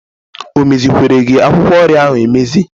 O mezikwere gị akwụkwọ nri ahụ emezi?